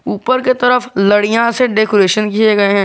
ऊपर के तरफ लड़ियां से डेकोरेशन किए गए हैं।